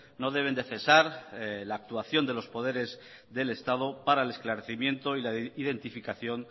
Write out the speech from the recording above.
no deben de cesar la actuación de los poderes del estado para el esclarecimiento y la identificación